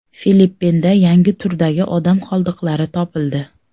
Filippinda yangi turdagi odam qoldiqlari topildi .